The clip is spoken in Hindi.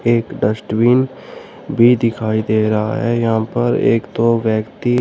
एक डस्टबिन भी दिखाई दे रहा है यहां पर एक दो व्यक्ति--